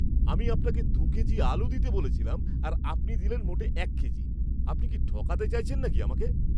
আমি আপনাকে দু'কেজি আলু দিতে বলেছিলাম আর আপনি দিলেন মোটে এক কেজি! আপনি কি ঠকাতে চাইছেন নাকি আমাকে?